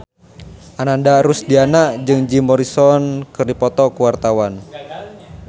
Ananda Rusdiana jeung Jim Morrison keur dipoto ku wartawan